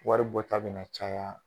Wari bɔ ta be na caya.